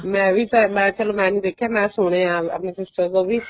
ਮੈਂ ਵੀ ਮੈਂ ਨੀ ਦੇਖਿਆ ਮੈਂ ਵੀ ਸੁਣਿਆ ਆਪਣੀ sister ਤੋਂ ਵੀ